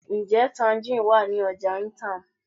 Njẹ tangerine wa ni ọja Itam?